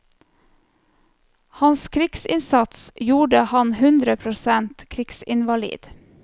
Hans krigsinnsats gjorde ham hundre prosent krigsinvalid.